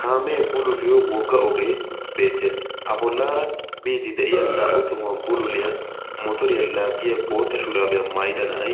kaamee bululiyo wogga ogee beettees a bollaara biidi de7iya naa77u tohuwan bululiyaa motoriyaa laaggiya boota shuraabiyaa maayida na7ai